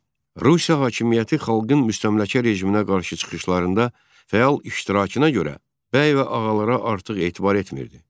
Rusiya hökuməti xalqın müstəmləkə rejiminə qarşı çıxışlarında fəal iştirakına görə bəy və ağalara artıq etibar etmirdi.